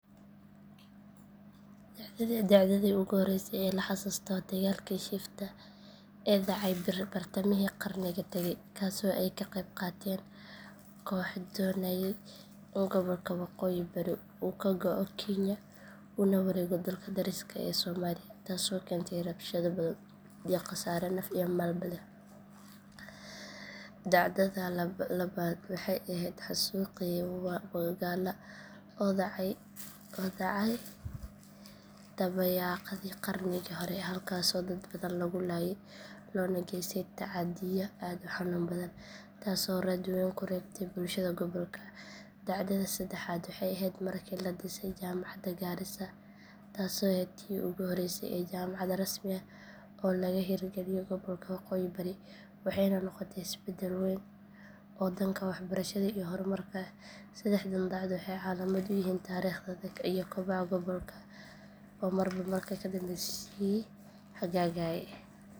Dhacdadii ugu horreysay ee la xasuusto waa dagaalkii shifta ee dhacay bartamihii qarnigii tagay kaasoo ay ka qayb qaateen kooxo doonayay in gobolka waqooyi bari uu ka go’o kenya una wareego dalka dariska ah ee soomaaliya taasoo keentay rabshado badan iyo khasaare naf iyo maalba leh. Dhacdada labaad waxay ahayd xasuuqii wagalla oo dhacay dabayaaqadii qarnigii hore halkaasoo dad badan lagu laayay loona geystay tacaddiyo aad u xanuun badan taasoo raad weyn ku reebtay bulshada gobolka. Dhacdada saddexaad waxay ahayd markii la dhisay jaamacadda garissa taasoo ahayd tii ugu horreysay ee jaamacad rasmi ah laga hirgaliyo gobolka waqooyi bari waxayna noqotay isbeddel weyn oo dhanka waxbarashada iyo horumarka ah. Saddexdan dhacdo waxay calaamad u yihiin taariikhda adag iyo kobaca gobolka oo marba marka ka dambeysa sii hagaagaya.